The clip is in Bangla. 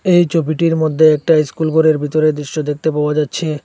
এই ছবিটির মধ্যে একটা ইস্কুল ঘরের ভিতরের দৃশ্য দেখতে পাওয়া যাচ্ছে।